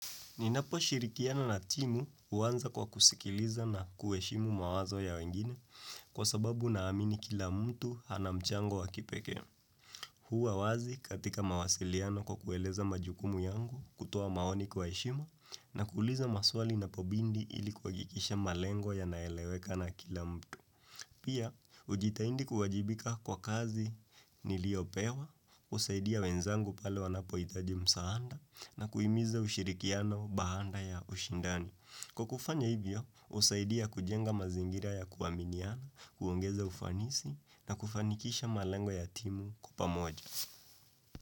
Ninaposhirikiana na timu huanza kwa kusikiliza na kuweshimu mawazo ya wengine kwa sababu naamini kila mtu anamchango wa kipekee. Huwa wazi katika mawasiliano kwa kueleza majukumu yangu kutoa maoni kuweshimu na kuuliza maswali inapobidi ili kuhakikisha malengo yanaeleweka na kila mtu. Pia, ujitaidi kuwajibika kwa kazi niliopewa, kusaidia wenzangu pale wanapohitaji msaada na kuhimiza ushirikiano baada ya ushindani. Kwa kufanya hivyo, husaidia kujenga mazingira ya kuwaminiana, kuongeza ufanisi na kufanikisha malengo ya timu kwa pamoja.